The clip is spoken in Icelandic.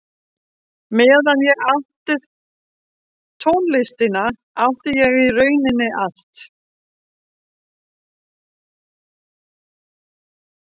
Meðan ég átti tónlistina átti ég í rauninni allt.